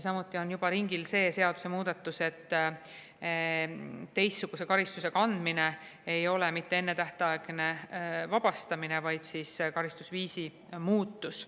Samuti on juba ringil seadusemuudatus, et teistsuguse karistuse kandmine ei oleks mitte ennetähtaegne vabastamine, vaid karistusviisi muutus.